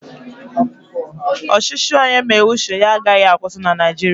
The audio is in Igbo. Ọchịchị onye mee uche ya agaghị akwụsị na Naijiria